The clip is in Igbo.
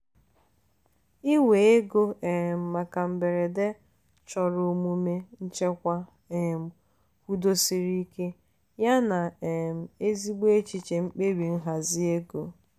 iwe ego um maka mberede chọrọ omume nchekwa um kwudosiri ike yana um ezigbo echiche mkpebi nhazi ego.